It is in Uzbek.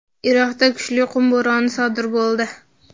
Iroqda kuchli qum bo‘roni sodir bo‘ldi.